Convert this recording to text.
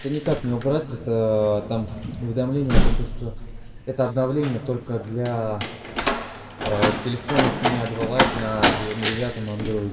это никак не убрать это там уведомление о том то что это обновление только для телефонов